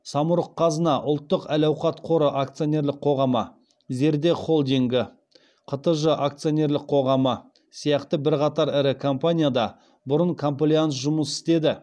самұрық қазына ұлттық әлауқат қоры акционерлік қоғамы зерде холдингі қтж акционерлік қоғамы сияқты бірқатар ірі компанияда бұрын комплаенс жұмыс істеді